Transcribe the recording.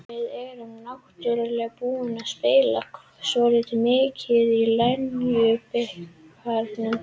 Við erum náttúrulega búnar að spila svolítið mikið í Lengjubikarnum.